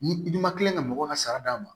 Ni i ma kila ka mɔgɔw ka sara d'a ma